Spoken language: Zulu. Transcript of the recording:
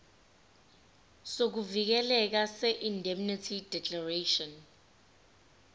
sokuvikeleka seindemnity declaration